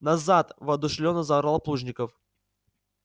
назад воодушевлённо заорал плужников